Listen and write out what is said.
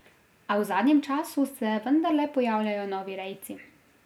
A v zadnjem času se vendarle pojavljajo novi rejci.